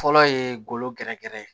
Fɔlɔ ye golo gɛrɛgɛrɛ ye